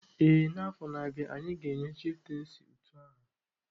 Ee, n'afọ na-abịa anyị ga-enye chieftaincy utu aha